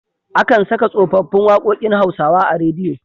Akan saka tsofaffin waƙokin Hausawa a rediyo.